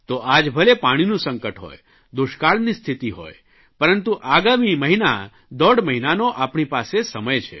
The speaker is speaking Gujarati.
તો આજ ભલે પાણીનું સંકટ હોય દુષ્કાળની સ્થિતિ હોય પરંતુ આગામી મહિના દોઢ મહિનાનો આપણી પાસે સમય છે